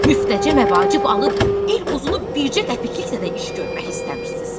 Müftəcə məvacib alıb il uzunu bircə qəpiklikdədə iş görmək istəmirsiz.